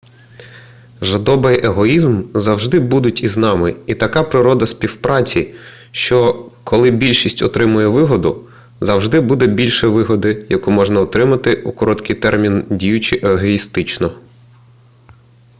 жадоба й егоїзм завжди будуть із нами і така природа співпраці що коли більшість отримує вигоду завжди буде більше вигоди яку можна отримати у короткий термін діючи егоїстично